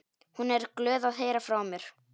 Hún er glöð að heyra frá mér.